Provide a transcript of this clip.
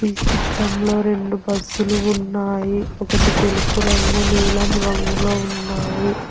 ఈ చిత్రంలో రెండు బస్సులు ఉన్నాయి ఒకటి తెలుపు రంగు నీలం రంగులో ఉన్నాయి.